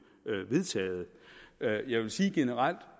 vedtaget jeg vil sige generelt